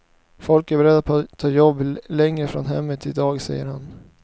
Folk är beredda att ta jobb längre ifrån hemmet i dag, säger han.